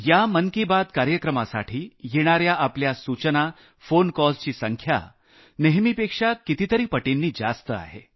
या मन की बात कार्यक्रमासाठी येणाऱ्या आपल्या सूचना फोन कॉल्सची संख्या सामान्यतः कितीतरी पटींनी जास्त आहे